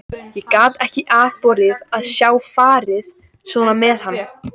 Ég gat ekki afborið að sjá farið svona með hann.